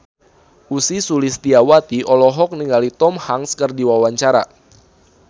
Ussy Sulistyawati olohok ningali Tom Hanks keur diwawancara